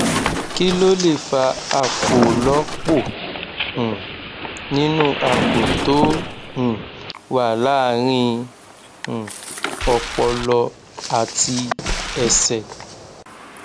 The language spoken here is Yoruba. kí ló lè fa àpòlọpò um nínú àpò tó um wà láàárín um ọpọlọ àti ẹsè